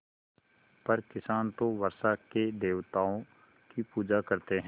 पर किसान तो वर्षा के देवताओं की पूजा करते हैं